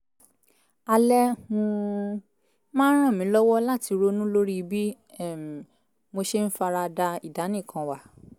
alẹ́ um máa ń ràn mí lọ́wọ́ láti ronú lórí bí um mo ṣe ń fara da ìdánìkanwà